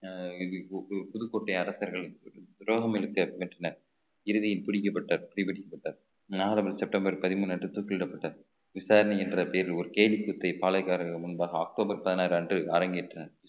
அஹ் பு~ பு~ புதுக்கோட்டை அரசர்கள் துரோகம் இழைக்கப்பெற்றனர் இறுதியில் பிடிக்கப்பட்டார் செப்டம்பர் பதிமூன்று அன்று தூக்கிலிடப்பட்டது விசாரணை என்ற பெயரில் ஒரு கேலிக்கூத்தை பாளைக்காரர்கள் முன்பாக அக்டோபர் பதினாறு அன்று அரங்கேற்றினார்